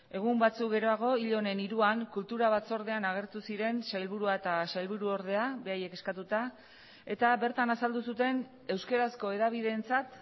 egun batzuk geroago hil honen hiruan kultura batzordean agertu ziren sailburua eta sailburuordea beraiek eskatuta eta bertan azaldu zuten euskarazko hedabideentzat